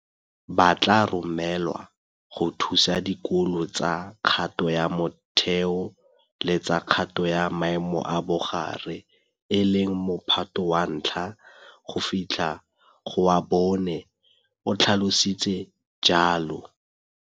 Ba tla romelwa go thusa dikolo tsa kgato ya motheo le tsa kgato ya maemo a bogare, e leng Mo phato wa 1 go fitlha go wa 4, o tlhalositse jalo.